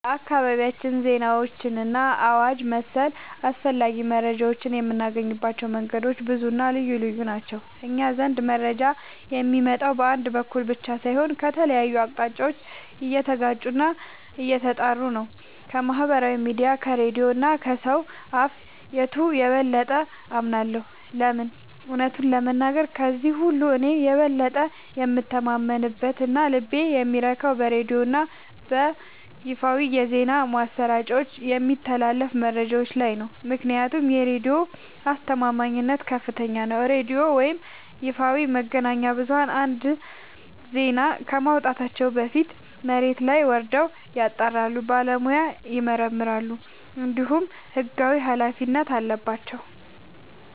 በአካባቢያችን ዜናዎችንና አዋጅ መሰል አስፈላጊ መረጃዎችን የምናገኝባቸው መንገዶች ብዙና ልዩ ልዩ ናቸው። እኛ ዘንድ መረጃ የሚመጣው በአንድ በኩል ብቻ ሳይሆን ከተለያዩ አቅጣጫዎች እየተጋጩና እየተጣሩ ነው። ከማኅበራዊ ሚዲያ፣ ከሬዲዮ እና ከሰው አፍ... የቱን የበለጠ አምናለሁ? ለምን? እውነቱን ለመናገር፣ ከእነዚህ ሁሉ እኔ የበለጠ የምተማመንበትና ልቤ የሚረካው በሬዲዮና በይፋዊ የዜና ማሰራጫዎች በሚተላለፉ መረጃዎች ላይ ነው። ምክንያቱም የሬዲዮ አስተማማኝነት ከፍተኛ ነው፤ ሬዲዮ ወይም ይፋዊ መገናኛ ብዙኃን አንድን ዜና ከማውጣታቸው በፊት መሬት ላይ ወርደው ያጣራሉ፣ በባለሙያ ይመረምራሉ፣ እንዲሁም ሕጋዊ ኃላፊነት አለባቸው።